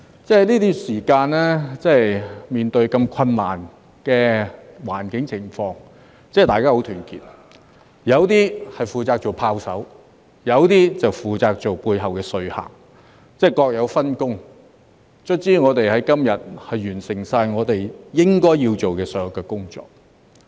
在這段時間，面對這麼困難的環境情況，大家十分團結：有的負責做"炮手"，有的就負責在背後做說客，各有分工，最後我們能在今日完成我們應該要做的所有工作。